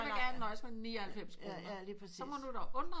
Jeg vil gerne nøjes med 99 kroner så må du da undre